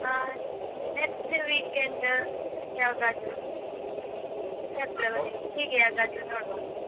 ಆ next weekend ಯಾವಾಗಾದ್ರೂ. February ಹೀಗೆ ಯಾವುದಾದ್ರೂ ನೋಡ್ವ.